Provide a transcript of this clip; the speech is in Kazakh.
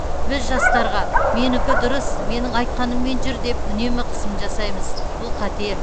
біз жастарға менікі дұрыс менің айтқаныммен жүр деп үнемі қысым жасаймыз бұл қате